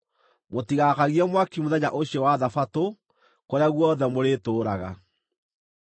Mũtigaakagie mwaki mũthenya ũcio wa Thabatũ kũrĩa guothe mũrĩtũũraga.”